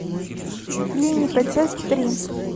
клиника часть три